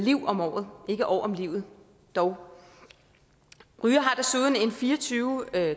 liv om året ikke år om livet dog rygere har desuden en fire og tyve